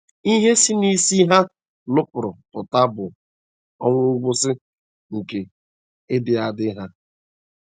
Ihe si n’ịsi ha nupụrụ pụta bụ ọnwụ, ngwụsị nke ịdị adị ha.